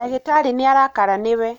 Dagĩtarĩnĩarakara nĩwe.